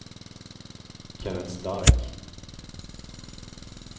Kenneth Stark